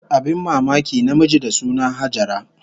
Abin mamaki, namiji da suna Hajara